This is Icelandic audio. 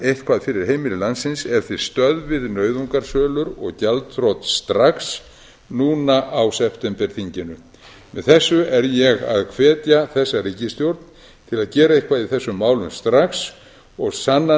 eitthvað fyrir heimili landsins ef þið stöðvið nauðungarsölur og gjaldþrot strax núna á septemberþinginu með þessu er ég að hvetja þessa ríkisstjórn til að gera eitthvað í þessum málum strax og kanna